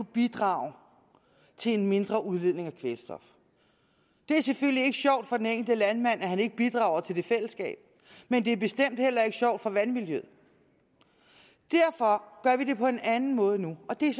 bidrage til en mindre udledning af kvælstof det er selvfølgelig ikke sjovt for den enkelte landmand at han ikke bidrager til fællesskabet men det er bestemt heller ikke sjovt for vandmiljøet derfor gør vi det på en anden måde nu og det